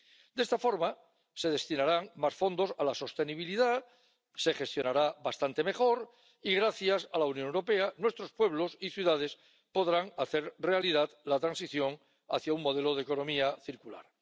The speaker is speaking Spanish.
De esta forma se destinarán más fondos a la sostenibilidad, se gestionarán bastante mejor y, gracias a la Unión Europea, nuestros pueblos y ciudades podrán hacer realidad la transición hacia un modelo de economía circular.